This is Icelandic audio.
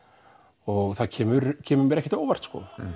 og það kemur kemur mér ekkert á óvart